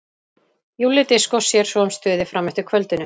Júlli Diskó sér svo um stuðið fram eftir kvöldinu.